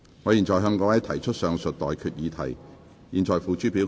我現在向各位提出上述待決議題，付諸表決。